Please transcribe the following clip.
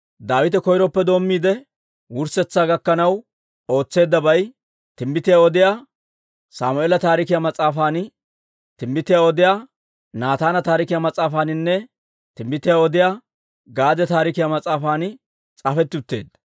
Daawite koyroppe doommiide wurssetsaa gakkanaw ootseeddabay, Timbbitiyaa Odiyaa Sammeela Taarikiyaa mas'aafan, Timbbitiyaa Odiyaa Naataana Taarikiyaa Mas'aafaaninne Timbbitiyaa Odiyaa Gaade Taarikiyaa mas'aafan s'aafetti utteedda.